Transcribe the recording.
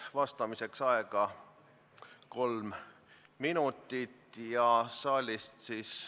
Vastamiseks on aega kolm minutit.